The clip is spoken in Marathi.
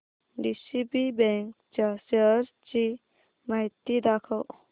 डीसीबी बँक च्या शेअर्स ची माहिती दाखव